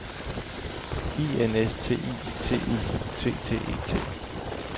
I N S T I T U T T E T